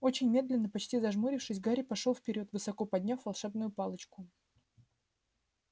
очень медленно почти зажмурившись гарри пошёл вперёд высоко подняв волшебную палочку